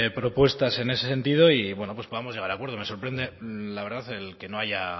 propuestas en ese sentido y bueno pues podamos llegar a acuerdos me sorprende la verdad el que no haya